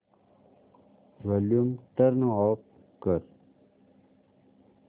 volume turn off कर